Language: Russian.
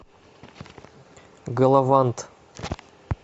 галавант